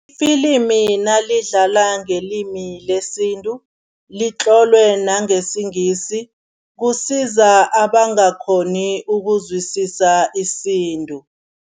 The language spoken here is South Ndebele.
Ifilimi nalidlala ngelimi lesintu, litlolwe nangesingisi, kusiza abangakghoni ukuzwisisa isintu.